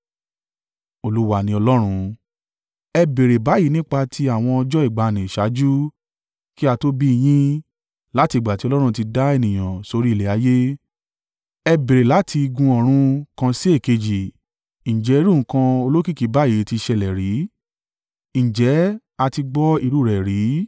Ẹ béèrè báyìí nípa ti àwọn ọjọ́ ìgbàanì ṣáájú kí a tó bí i yín, láti ìgbà tí Ọlọ́run ti dá ènìyàn sórí ilẹ̀ ayé. Ẹ béèrè láti igun ọ̀run kan sí èkejì. Ǹjẹ́ irú nǹkan olókìkí báyìí: ti ṣẹlẹ̀ rí? Ǹjẹ́ a ti gbọ́ irú u rẹ̀ rí?